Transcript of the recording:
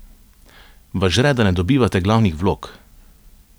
Vas žre, da ne dobivate glavnih vlog?